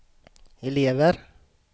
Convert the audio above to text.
elever